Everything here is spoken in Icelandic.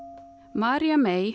María mey